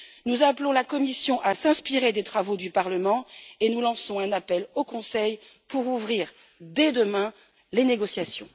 Nous appelons la Commission à s'inspirer des travaux du Parlement et nous lançons un appel au Conseil pour ouvrir dès demain les négociations.